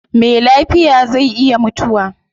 Me lafiya zai iya mutuwa